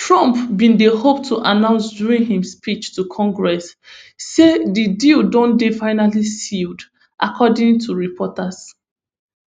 trump bin dey hope to announce during im speech to congress say di deal don dey finally sealed according to reports